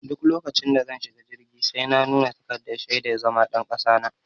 Duk lokacin da zan shiga jirgi sai na nuna takardar shaidar zama ɗan kasa na.